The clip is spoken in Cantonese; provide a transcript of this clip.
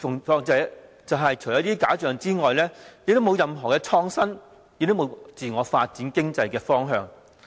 但是，除了這些假象之外，卻沒有任何創新或自我發展的方向。